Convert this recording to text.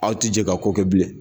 Aw tɛ jɛ ka ko kɛ bilen